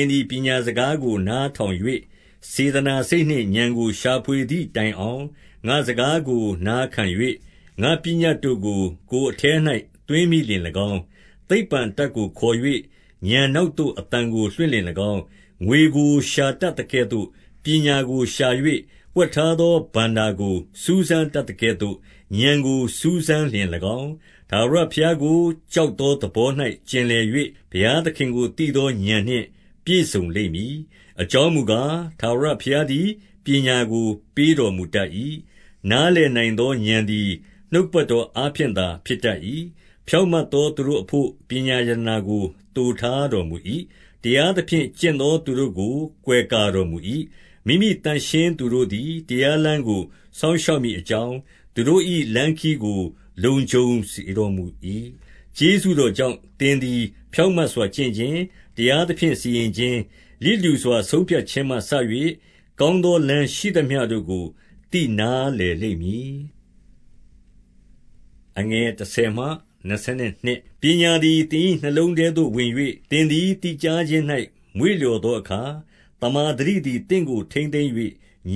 င်သည်ပညာစကားကို နားထောင်၍၊ 2 စေတနာစိတ်နှင့်ဥာဏ်ကို ရှာဖွေသည်တိုင်အောင်၊ ငါ့စကားကို နားခံ၍၊ ငါ့ပညတ်တို့ကို ကိုယ်အထဲ၌ သွင်းမိလျှင်၎င်း၊ 3 သိပ္ပံအတတ်ကိုခေါ်၍၊ ဥာဏ်နောက်သို့ အသံ ကိုလွှင့်လျှင်၎င်း၊ 4 ငွေကိုရှာတတ်သကဲ့သို့ ပညာကိုရှာ၍၊ ဝှက်ထား သောဘဏ္ဍာကို စူးစမ်းတတ်သကဲ့သို့၊ ဥာဏ်ကို စူးစမ်း လျှင်၎င်း၊ 5 ထာဝရဘုရားကို ကြောက်သောသဘော၌ ကျင်လည်၍၊ ဘုရားသခင်ကိုသိသော ဥာဏ်နှင့်ပြည့်စုံ လိမ့်မည်။ 6 အကြောင်းမူကား၊ ထာဝရဘုရားသည်ပညာကို ပေးတော်မူတတ်၏။ နားလည်နိုင်သော ဥာဏ်သည် နှုတ်ကပတ်တော်အားဖြင့်သာဖြစ်တတ်၏။ 7 ဖြောင့်မတ်သောသူတို့အဘို့ ပညာရတနာကို သိုထားတော်မူ၏။ တရားသဖြင့်ကျင့်သောသူတို့ကို ကွယ်ကာတော်မူ၏။ 8 မိမိသန့်ရှင်းသူတို့သည်တရားလမ်းကို စောင့် ရှောက်မည်အကြောင်း၊ သူတို့၏လမ်းခရီးကို လုံခြုံ စေတော်မူ၏။ 9 ကျေးဇူးတော်ကြောင့် သင်သည် ဖြောင့်မတ်စွာ ကျင့်ခြင်း။ တရားသဖြင့်စီရင်ခြင်း၊ လျစ်လျူစွာ ဆုံးဖြတ် ခြင်းမှစ၍၊ ကောင်းသောလမ်းရှိသမျှတို့ကို သိနားလည် လိမ့်မည်။ 10 ပညာသည်သင်၏နှလုံးထဲသို့ဝင်၍၊ သင်သည် သိကြားခြင်း၌ မွေ့လျော်သောအခါ၊ 11 သမ္မာသတိသည် သင့်ကို ထိန်းသိမ်း၍